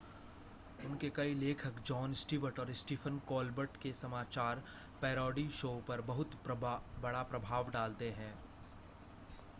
उनके कई लेखक जॉन स्टीवर्ट और स्टीफ़न कोलबर्ट के समाचार पैरोडी शो पर बहुत बड़ा प्रभाव डालते हैं